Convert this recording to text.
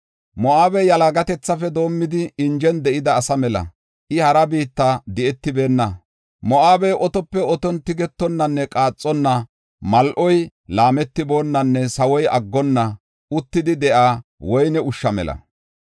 “Moo7abey yalagatethafe doomidi, injen de7ida asa mela; I hara biitta di7etibeenna. Moo7abey otope oton tigetonanne qaaxonna, mal7oy laametonnanne sawoy aggonna, uttidi de7ida woyne ushsha mela.